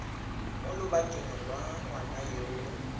mo lobakeng lwa ngwana yo